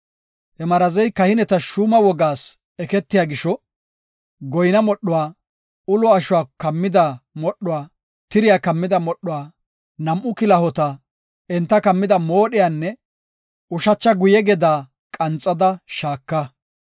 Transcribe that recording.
“He marazey kahineta shuuma wogaas eketiya gisho, goyna modhuwa, ulo ashuwa kammida modhuwa, tiriya kammida moodhiya, nam7u kilahota, enta kammida moodhiyanne ushacha guye gedaa qanxada shaaka.